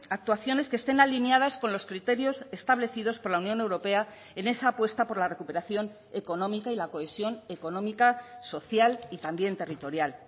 actuaciones que estén alineadas con los criterios establecidos por la unión europea en esa apuesta por la recuperación económica y la cohesión económica social y también territorial